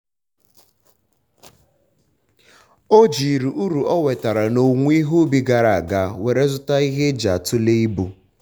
o ji uru o nwetara n'owuwo ihe ubi gara ga were zụta ihe eji atule ibu